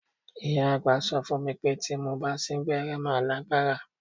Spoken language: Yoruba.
Ìyá àgbà sọ fún mi pé tí mo bá sín gbẹ́rẹ́ màá lágbára.